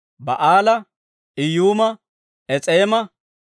Baa'aalaa, Iyuuma, Es'eema,